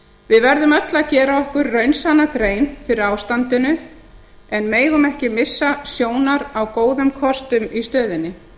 við verðum öll að gera okkur raunsanna grein fyrir ástandinu en megum ekki missa sjónar á góðum kostum í stöðunni